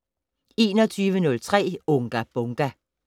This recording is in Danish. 21:03: Unga Bunga!